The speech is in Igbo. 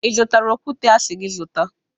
Ị zụtara okwute a si gị zụta?